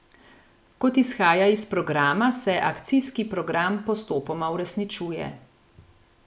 Kot izhaja iz programa, se akcijski program postopoma uresničuje.